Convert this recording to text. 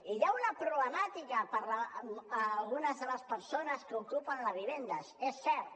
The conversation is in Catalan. i hi ha una problemàtica per a algunes de les persones que ocupen les vivendes és cert